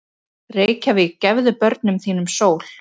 Reykjavík, gefðu börnum þínum sól!